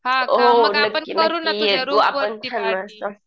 हां का मग आपण करू ना तुझ्या रूम वरती पार्टी